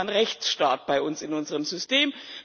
Das nennt man Rechtsstaat bei uns in unserem System.